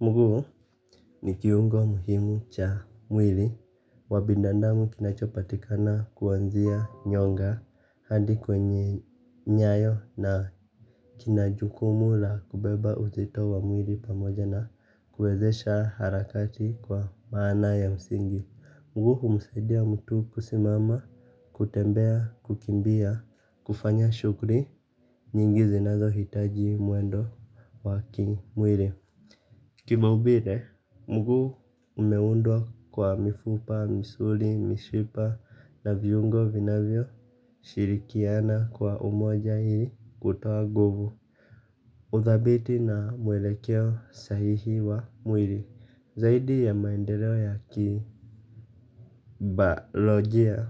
Mguu ni kiungo muhimu cha mwili wa binadadamu kinachopatikana kwanzia nyonga hadi kwenye nyayo na kina jukumu la kubeba uzito wa mwili pamoja na kuwezesha harakati kwa maana ya msingi. Mguu humusaidia mtu kusimama, kutembea, kukimbia, kufanya shughuli nyingi zinazohitaji mwendo wa kimwili. Kimaumbile, mguu umeundwa kwa mifupa, misuli, mishipa na viungo vinavyo shirikiana kwa umoja ili kutoa nguvu uthabiti na mwelekeo sahihi wa mwili, zaidi ya maendeleo ya kibayolojia.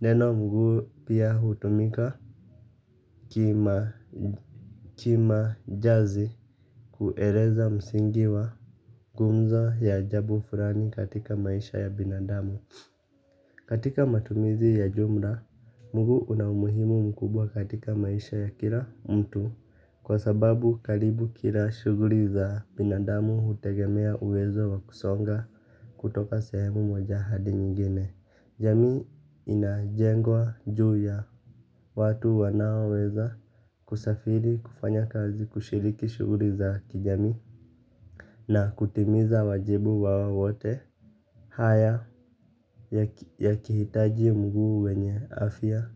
Neno mguu pia hutumika kimajazi kueleza msingi wa gumzo ya ajabu fulani katika maisha ya binadamu. Katika matumizi ya jumla, mguu una umuhimu mkubwa katika maisha ya kila mtu, kwa sababu karibu kila shughuli za binadamu hutegemea uwezo wa kusonga kutoka sehemu moja hadi nyingine. Jamii inajengwa juu ya watu wanaoweza kusafiri, kufanya kazi, kushiriki shughuli za kijamii na kutimiza wajibu wao wote. Haya yakihitaji mguu wenye afya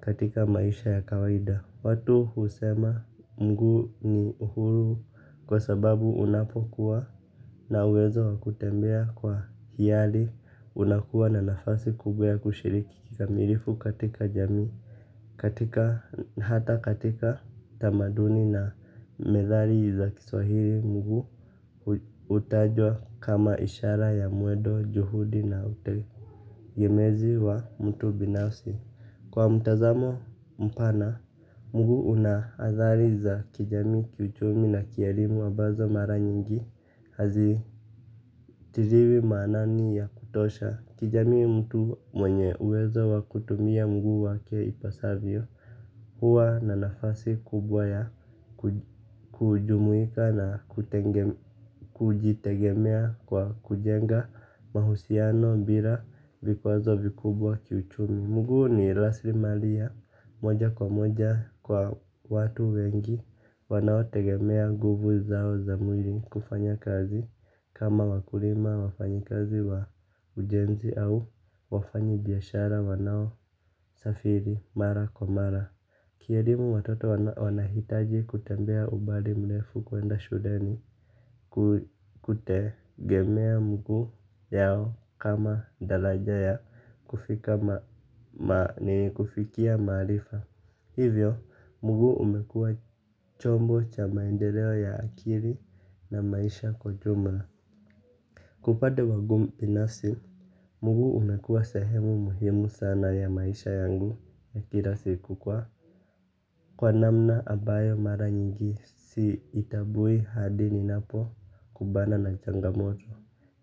katika maisha ya kawaida. Watu husema mguu ni uhuru kwa sababu unapokuwa na uwezo wa kutembea kwa hiari unakuwa na nafasi kubwa ya kushiriki kikamilifu katika jamii, hata katika tamaduni na methali za Kiswahili mguu hutajwa kama ishara ya mwendo, juhudi na utegemezi wa mtu binafsi. Kwa mtazamo mpana, mgu una athari za kijamii ki uchumi na kielimu ambazo mara nyingi hazitiliwi maanani ya kutosha, kijamii mtu mwenye uwezo wa kutumia mguu wake ipasavyo huwa na nafasi kubwa ya kujumuika na kujitegemea kwa kujenga mahusiano bila vikwazo vikubwa kiuchumi. Mguu ni rasilimali ya moja kwa moja kwa watu wengi wanao tegemea nguvu zao za mwili kufanya kazi kama wakulima, wafanyakazi wa ujenzi au wafanyi biashara wanao safiri mara kwa mara Ki elimu watoto wanahitaji kutembea umbali mrefu kuenda shuleni kutegemea mguu yao kama daraja ya kufikia maarifa. Hivyo, mguu umekua chombo cha maendeleo ya akili na maisha kwa jumla. Kupata uwangu binasi, mguu umekua sehemu muhimu sana ya maisha yangu ya kila siku kwa kwa namna ambayo mara nyingi siitambui hadi ninapo kumbana na changamoto.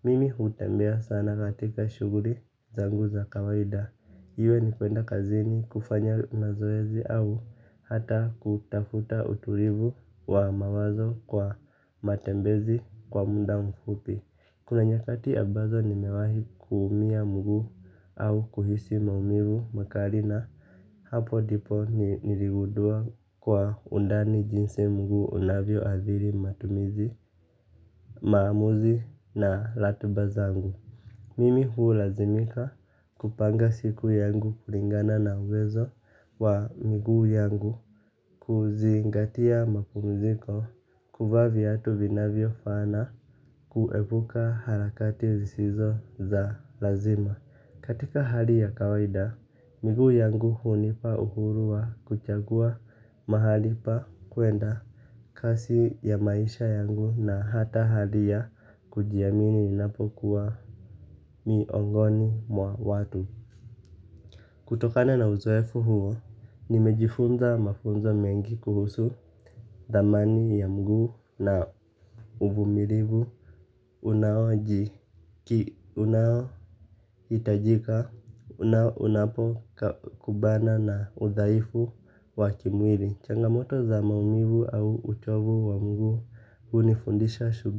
Mimi hutembea sana katika shughuli zangu za kawaida iwe ni kuenda kazini, kufanya mazoezi au hata kutafuta utulivu wa mawazo kwa matembezi kwa muda mfupi. Kuna nyakati ambazo nimewahi kuumia mguu au kuhisi maumivu makali na hapo ndipo niligundua kwa undani jinsi mguu unavyo athiri matumizi, maamuzi na ratuba zangu. Mimi hulazimika kupanga siku yangu kulingana na uwezo wa miguu yangu, kuzingatia mapumziko, kuvaa viatu vinavyo fana kuepuka harakati zisizo za lazima. Katika hali ya kawaida, miguu yangu hunipa uhuru wa kuchagua mahali pa kuenda, kasi ya maisha yangu, na hata hali ya kujiamini ninapo kuwa miongoni mwa watu. Kutokana na uzoefu huo, nimejifunza mafunzo mengi kuhusu dhamani ya mguu na uvumilivu. Unaohitajika unapo kumbana na udhaifu wa kimwili. Changamoto za maumivu au uchovu wa mguu hunifundisha subira.